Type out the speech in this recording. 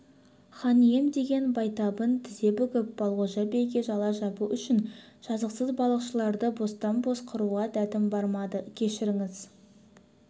хан ием деген байтабын тізе бүгіп балғожа биге жала жабу үшін жазықсыз балықшыларды бостан-бос қыруға дәтім бармады кешіріңіз